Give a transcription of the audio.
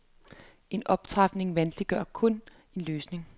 En optrapning vanskeliggør jo kun en løsning.